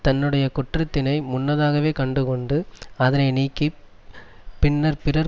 தன்னுடைய குற்றத்தினை முன்னதாகவே கண்டுகொண்டு அதனை நீக்கி பின்னர் பிறர்